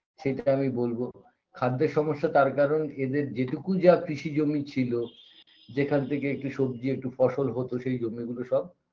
সেইটা আমি বলবো খাদ্যের সমস্যা তার কারণ এদের যেটুকু যা কৃষিজমি ছিল যেখান থেকে একটু সবজি একটু ফসল হতো সেই জমিগুলো সব